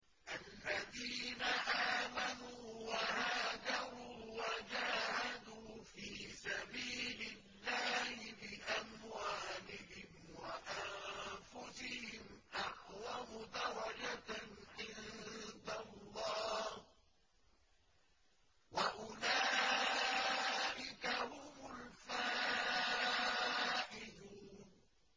الَّذِينَ آمَنُوا وَهَاجَرُوا وَجَاهَدُوا فِي سَبِيلِ اللَّهِ بِأَمْوَالِهِمْ وَأَنفُسِهِمْ أَعْظَمُ دَرَجَةً عِندَ اللَّهِ ۚ وَأُولَٰئِكَ هُمُ الْفَائِزُونَ